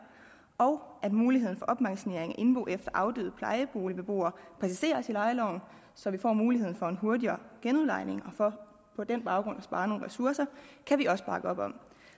og at muligheden for opmagasinering af indbo efter afdøde plejeboligbeboere præciseres i lejeloven så man får mulighed for en hurtigere genudlejning og for på den baggrund at spare nogle ressourcer kan vi også bakke op om